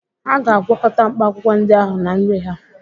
Hà ga-agwakọta mkpaakwụkwọ ndị ahụ na nri ha?